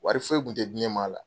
Wari foyi tun tɛ di ne ma a la.